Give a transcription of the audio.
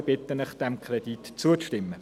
Ich bitte Sie, diesem Kredit zuzustimmen.